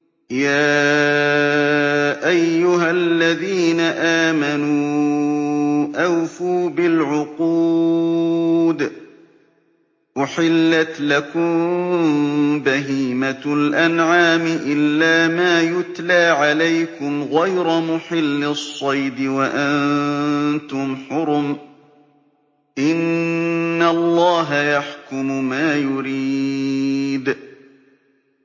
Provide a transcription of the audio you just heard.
يَا أَيُّهَا الَّذِينَ آمَنُوا أَوْفُوا بِالْعُقُودِ ۚ أُحِلَّتْ لَكُم بَهِيمَةُ الْأَنْعَامِ إِلَّا مَا يُتْلَىٰ عَلَيْكُمْ غَيْرَ مُحِلِّي الصَّيْدِ وَأَنتُمْ حُرُمٌ ۗ إِنَّ اللَّهَ يَحْكُمُ مَا يُرِيدُ